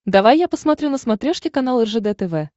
давай я посмотрю на смотрешке канал ржд тв